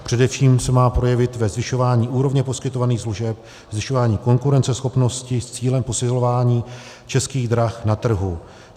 Především se má projevit ve zvyšování úrovně poskytovaných služeb, zvyšování konkurenceschopnosti s cílem posilování Českých drah na trhu.